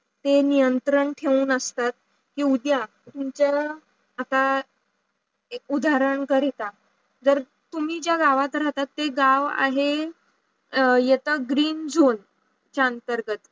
ते त्त्रन् ठेऊन असतात की उद्या तुमच्या असा उदहारण करिता जर तुम्ही ज्या वायव्हतं राहतात ते गाव आहे यत ग्रीन झोय शांतर्गत